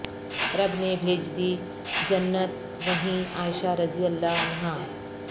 رب نے بھیج دی جنت وہیں عائشہ رضی اللہ عنہا